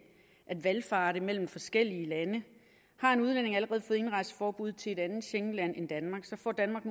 at valfarte mellem forskellige lande har en udlænding allerede fået indrejseforbud til et andet schengenland end danmark får danmark